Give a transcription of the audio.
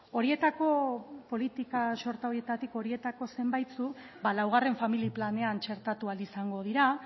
horietako politika sorta horietatik horietako zenbaitzuk ba laugarren familia planean txertatu ahal izango dira